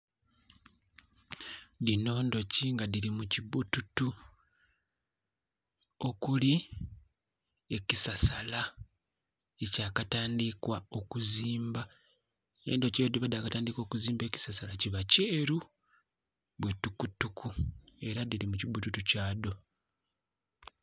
Dhino ndhuki dhiri mukibbututu okuli ekisasala ekyakatandikwa okuzimbwa, endhuki bwedhiba dhakatandika okuzimba ekisasala kiba kyeeru bwetukutuku era dhiri mukibbututu kyadho.